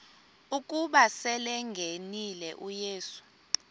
ukuba selengenile uyesu